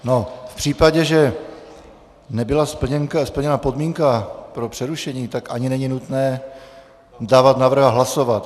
V případě, že nebyla splněna podmínka pro přerušení, tak ani není nutné dávat návrh a hlasovat.